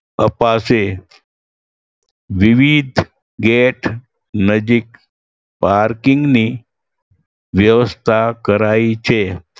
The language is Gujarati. અપાશે. વિવિધ gate નજીક parking ની વ્યવસ્થા કરાઈ છે.